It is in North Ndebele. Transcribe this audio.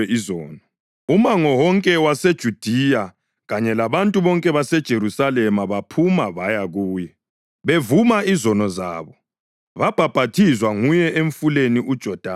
Umango wonke waseJudiya kanye labantu bonke baseJerusalema baphuma baya kuye. Bevuma izono zabo, babhaphathizwa nguye eMfuleni uJodani.